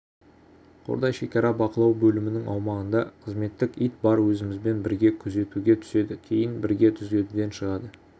қордай шекара бақылау бөлімінің аумағында қызметтік ит бар өзімізбен бірге күзетуге түседі кейін бірге күзетуден шығады